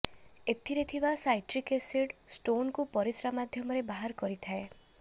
ଏଥିରେ ଥିବା citric acid ଷ୍ଟୋନ୍କୁ ପରିସ୍ରା ମାଧ୍ୟମରେ ବାହାର କରିଥାଏ